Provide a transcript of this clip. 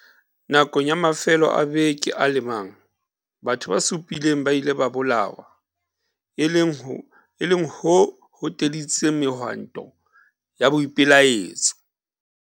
Nakong ya mafelo a beke a le mang, batho ba supileng ba ile ba bolawa, e leng ho hoteditseng mehwanto ya boipelaetso.